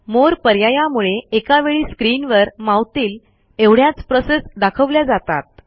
मोरे पर्यायामुळे एका वेळी स्क्रीनवर मावतील एवढ्याच प्रोसेस दाखवल्या जातात